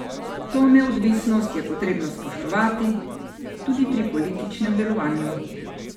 To neodvisnost je potrebno spoštovati tudi pri političnem delovanju.